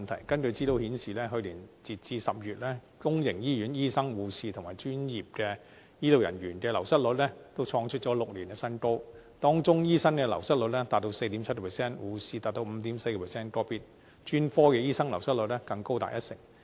根據資料顯示，截至去年10月，公營醫院醫生、護士和專業醫療人員的流失率，均創出6年新高，當中醫生流失率達 4.7%， 護士達 5.4%， 個別專科醫生流失率更高達一成。